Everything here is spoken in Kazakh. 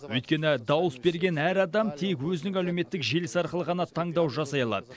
өйткені дауыс берген әр адам тек өзінің әлеуметтік желісі арқылы ғана таңдау жасай алады